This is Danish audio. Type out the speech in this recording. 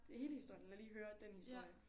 Hele historien eller lige høre den historie